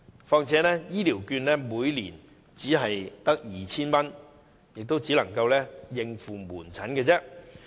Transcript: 況且，醫療券金額每年只是 2,000 元，只足夠應付門診診金。